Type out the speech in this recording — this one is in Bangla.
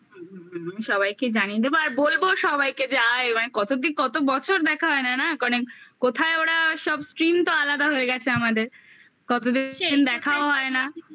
আমি সবাইকে জানিয়ে দেবো আর বলবো সবাইকে যাই এবারে কত বছর দেখা হয়না না সব stream তো আলাদা হয়ে গেছে আমাদের কতদিন দেখাও হয় না